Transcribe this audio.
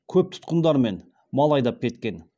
көп тұтқындармен мал айдап кеткен